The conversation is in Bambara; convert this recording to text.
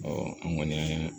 an ŋɔni